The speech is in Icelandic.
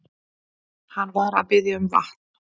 Hann var að biðja um vatn.